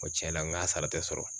Ko tiɲɛ na n k'a sara tɛ sɔrɔ